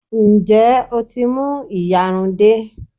Ǹjẹ́ o tí mú ìyarun dé?